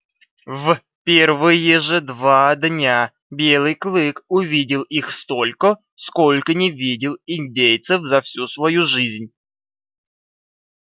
в первые же два дня белый клык увидел их столько сколько не видел индейцев за всю свою жизнь